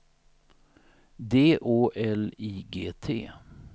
D Å L I G T